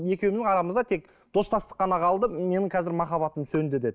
екеуміздің арамызда тек достастық қана қалды менің қазір махаббатым сөнді деді